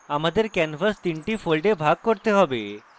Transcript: আমাদের canvas 3 the folds ভাগ করতে have